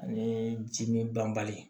Ani jimi banbali